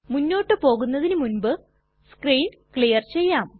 മുന്നോട്ട് പോകുന്നതിനു മുൻപ് നമുക്ക് സ്ക്രീൻ ക്ലിയർ ചെയ്യാം